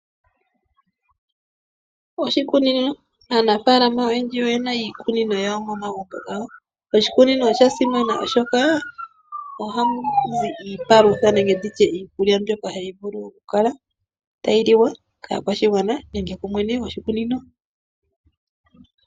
Oshikunino Aanafaalama oyendji oye na iikunino yawo momagumbo gawo. Noshikunino osha simana oshoka ohamu zi iipalutha nenge nditye iikulya mbyoka hayi vulu okukala tayi liwa kaakwashigwana nenge kumwene goshikunino.